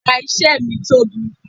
Yàrá isé mi tóbi